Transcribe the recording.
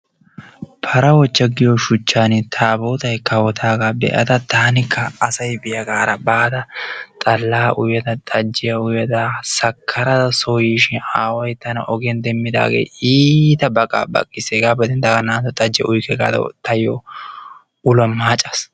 para ochcha giyosan tabootay kawotaagaa be'ada taanikka asay biyaara baada xallaa xalaa uyada xajjiya uyada sakarada soo yiishin aaway soo yiishin tana ogiyan demmidaagee iita baqa baqqis hegaa bolan naa'antto xajjiya uyikke gaada tayo maaccaas.